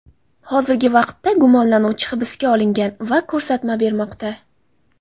Hozirgi vaqtda gumonlanuvchi hibsga olingan va ko‘rsatma bermoqda.